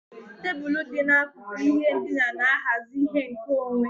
Tebụl dị n'akụkụ ihe ndina na-ahazi ihe nkeonwe.